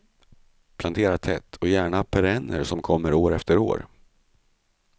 Plantera tätt, och gärna perenner som kommer år efter år.